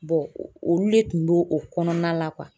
olu le tun b'o o kɔnɔna la